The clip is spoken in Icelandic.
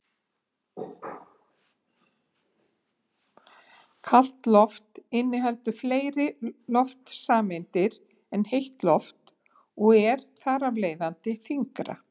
Kalt loft inniheldur fleiri loftsameindir en heitt loft og er þar af leiðandi þyngra.